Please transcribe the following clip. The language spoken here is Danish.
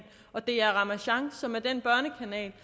og dr ramasjang som er den